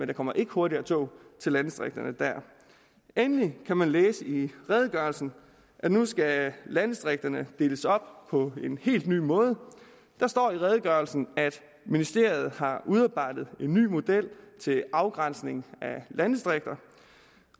der kommer ikke hurtigere tog til landdistrikterne dér endelig kan man læse i redegørelsen at nu skal landdistrikterne deles op på en helt ny måde der står i redegørelsen at ministeriet har udarbejdet en ny model til afgrænsning af landdistrikter